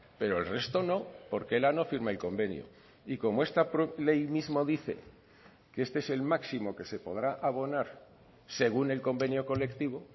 pero el resto no porque ela no firma el convenio y como esta ley mismo dice que este es el máximo que se podrá abonar según el convenio colectivo